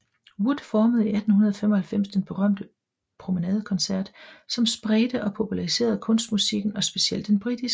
Wood formede i 1895 den berømte Promenade Concert som spredte og populariserede kunstmusikken og specielt den britiske